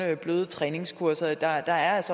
er bløde træningskurser for der er